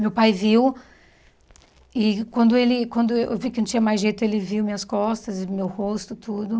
Meu pai viu, e quando ele quando eu vi que não tinha mais jeito, ele viu minhas costas e meu rosto, tudo.